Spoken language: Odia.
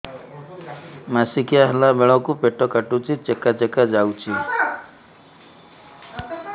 ମାସିକିଆ ହେଲା ବେଳକୁ ପେଟ କାଟୁଚି ଚେକା ଚେକା ଯାଉଚି